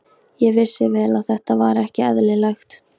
Ég vissi vel að þetta var ekki eðlilegt.